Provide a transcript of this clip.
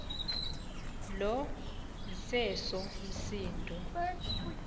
lo iseso msindo